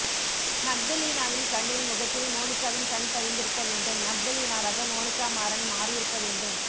மக்தலீனாவின் கண்ணில் முகத்தில் மோனிகாவின் கண் பதிந்திருக்க வேண்டும் மக்தலீனாவாக மோனிகா மாறன் மாறியிருக்க வேண்டும்